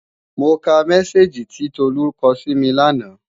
Mo ka mẹ́sáàgì tí Tolú kọ sími lánàá